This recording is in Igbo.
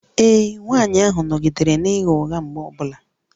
Ee, nwanyị ahụ nọgidere na-agha ụgha mgbe ọ bụla